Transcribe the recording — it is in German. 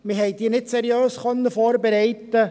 Wir konnten sie nicht seriös vorbereiten.